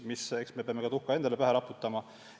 Eks me peame tuhka ka endale pähe raputama.